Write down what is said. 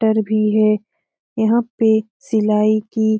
टर भी है यहाँ पे सिलाई की--